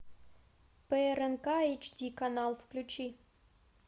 по рнк эйч ди канал ввключи